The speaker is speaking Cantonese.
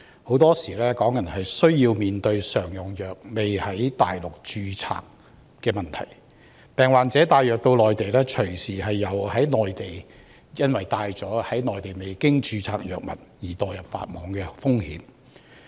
香港人經常面對常用藥未有在內地註冊的問題，病人帶藥物到內地，隨時因攜帶了在內地未經註冊的藥物而墮入法網。